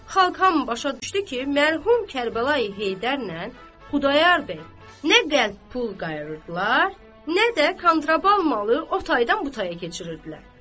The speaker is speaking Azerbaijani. Xalq hamı başa düşdü ki, mərhum Kərbəlayı Heydərlə Xudayar bəy nə qəlp pul qayırırdılar, nə də kontraband malı o taydan bu taya keçirirdilər.